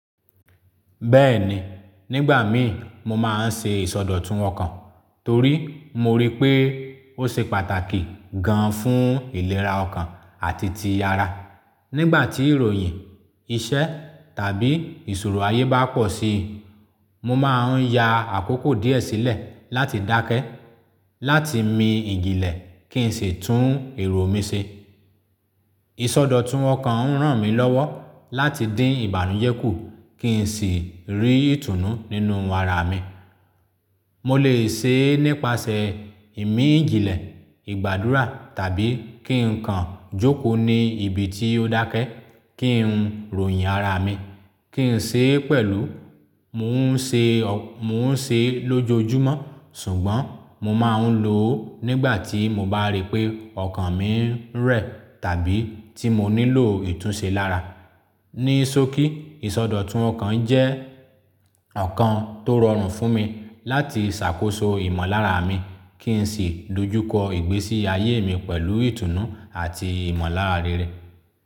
Bẹ́ẹ̀ni, nígbà mii mo máa ń ṣe ìsọdọ̀tun ọkàn torí mo rí pé ó ṣe pàtàkì gan fún ìlera ọkàn àti ti ara. Nígbà tí ìròyìn, iṣẹ́ tàbí ìṣòro ayé bá pọ̀ sí i, mo máa ń ya àkókò díẹ̀ sílẹ̀ láti dákẹ́, láti mi ìjìnlẹ̀ kí n sì tún èrò mi ṣe. Ìsọdọ̀tun ọkàn ń ràn mí lọ́wọ́ láti dín ìbànújẹ́ kù kí n sì rí ìtùnú nínú ara mi. Mo lè ṣe é nípasẹ̀ ìmí ìjìnlẹ̀, ìgbàdúrà tàbí kí n kan jókòó ní ibi tí ó dákẹ́ kí n ròyìn ara mi, kí n ṣe é pẹ̀lú. Mo n se mo ń ṣe é lójoojúmọ́ ṣùgbọ́n mo máa ń lo ó nígbà tí mo bá rí pé ọkàn mi ń rẹ̀ tàbí tí mo nílò ìtúnṣe lára. Ní sókí, ìsọdọ̀tun ọkàn jẹ́ ọ̀kan tó rọrùn fún mi láti ṣàkóso ìmọ̀lára mi kí n sì dojúkọ ìgbésí ayé mi pẹ̀lú ìtùnú àti ìmọ̀lára rere.